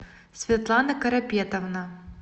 светлана карапетовна